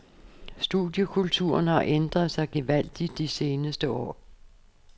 Studiekulturen har ændret sig gevaldigt de seneste år.